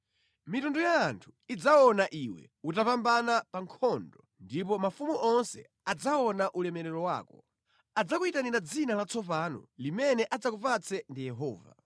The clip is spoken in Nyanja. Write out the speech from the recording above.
Mitundu ya anthu idzaona iwe utapambana pa nkhondo ndipo mafumu onse adzaona ulemerero wako. Adzakuyitanira dzina latsopano limene adzakupatse ndi Yehova.